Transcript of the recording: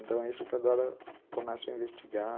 Então, é isso que agora começam a investigar.